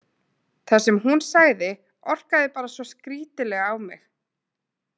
Það sem hún sagði orkaði bara svo skrítilega á mig.